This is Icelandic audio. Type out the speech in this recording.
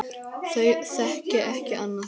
Þau þekki ekki annað.